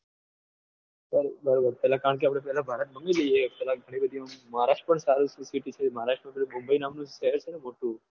પણ બરોબર પેલા કારણ કે આપડે ભારત ઘૂમી લઈએ પેલા ગણી બધી આમ મહારાષ્ટ્ર પણ સારું city છે મહારાષ્ટ્ર માં મુંબઈ નામનું શહેર છે ને મોટું